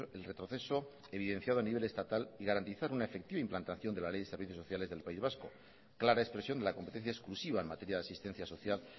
el retroceso evidenciado en nivel estatal y garantizar una efectiva implantación de la ley de servicios sociales del país vasco clara expresión de la competencia exclusiva en materia de asistencia social